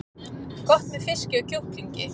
Gott með fiski og kjúklingi